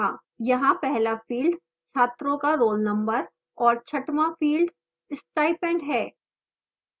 यहाँ पहला field छात्रों का roll number और छठवां field स्टाइपेंड है